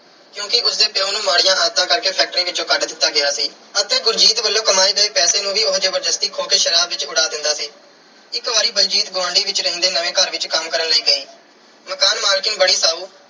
ਕਿਉਂਕਿ ਉਸ ਦੇ ਪਿਉ ਨੂੰ ਮਾੜੀਆਂ ਆਦਤਾਂ ਕਰਕੇ factory ਵਿੱਚੋਂ ਕੱਢ ਦਿੱਤਾ ਗਿਆ ਸੀ ਅਤੇ ਬਲਜੀਤ ਵੱਲੋਂ ਕਮਾਏ ਗਏ ਪੈਸੇ ਨੂੰ ਵੀ ਉਹ ਜ਼ਬਰਦਸਤੀ ਖੋਹ ਕੇ ਸ਼ਰਾਬ ਵਿੱਚ ਉਡਾ ਦਿੰਦਾ ਸੀ। ਇੱਕ ਵਾਰੀ ਬਲਜੀਤ ਗੁਆਂਢਵਿੱਚ ਰਹਿੰਦੇ ਨਵੇਂ ਘਰ ਵਿੱਚ ਕੰਮ ਕਰਨ ਲਈ ਗਈ। ਮਕਾਨ ਮਾਲਕਣ ਬੜੀ ਸਾਊ